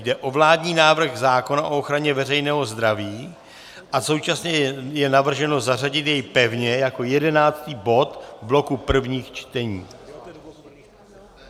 Jde o vládní návrh zákona o ochraně veřejného zdraví a současně je navrženo zařadit jej pevně jako jedenáctý bod v bloku prvního čtení.